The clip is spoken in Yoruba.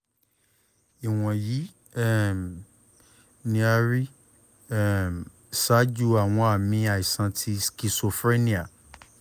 iwọnyi um ni a rii um ṣaaju awọn aami aisan ti schizophrenia